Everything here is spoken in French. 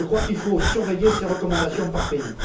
Je crois qu'il faut surveiller ces recommandations par pays.